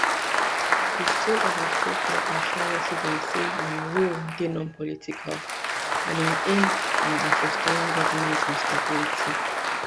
di sole administrator assure residents say im role dey nonpolitical and im aim na at restoring governance and stability